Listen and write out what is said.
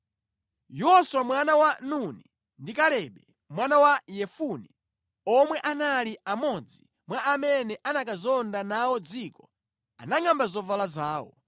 Yoswa mwana wa Nuni ndi Kalebe mwana wa Yefune, omwe anali amodzi mwa amene anakazonda nawo dziko, anangʼamba zovala zawo